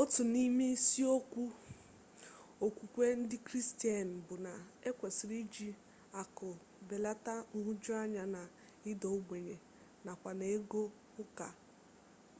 otu n'ime isi okwu okwukwe ndị kristian bu na ekwesiri iji akụ belata nhụjuanya na ịda ogbenye nakwa na ego ụka